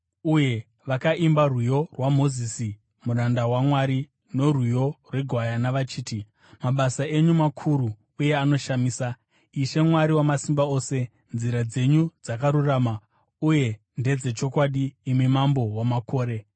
uye vakaimba rwiyo rwaMozisi muranda waMwari norwiyo rweGwayana, vachiti: “Mabasa enyu makuru uye anoshamisa, Ishe Mwari Wamasimba Ose. Nzira dzenyu dzakarurama uye ndedzechokwadi, imi Mambo wamakore.